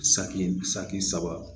Saki saki saba